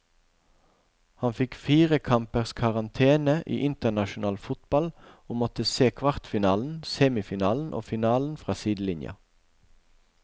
Han fikk fire kampers karantene i internasjonal fotball og måtte se kvartfinalen, semifinalen og finalen fra sidelinja.